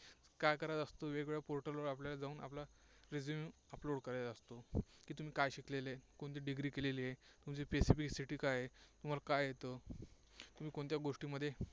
काय करायचं असतं? वेगवेगळ्या portal वर आपल्याला जाऊन आपला resume upload करायचा असतो. की तुम्ही काय शिकलेले, कोणती degree घेतली आहे, कोणती specificity काय आहे, तुम्हाला काय येते, तुम्ही कोणत्या गोष्टींमध्ये